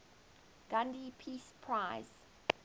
gandhi peace prize